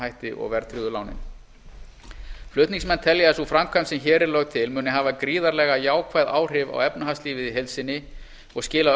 hætti og verðtryggðu lánin flutningsmenn telja að sú framkvæmd sem hér er lögð til muni hafa gríðarlega jákvæð áhrif á efnahagslífið í heild sinni og skila